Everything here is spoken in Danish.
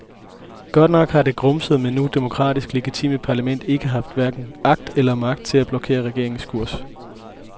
Godt nok har det grumsede, men nu demokratisk legitime parlament ikke haft hverken agt eller magt til at blokere regeringens kurs.